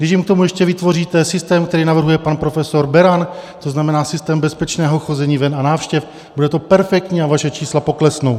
Když jim k tomu ještě vytvoříte systém, který navrhuje pan profesor Beran, to znamená systém bezpečného chození ven a návštěv, bude to perfektní a vaše čísla poklesnou.